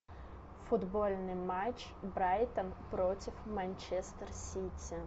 футбольный матч брайтон против манчестер сити